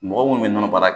Mɔgɔ munnu be nɔnɔ baara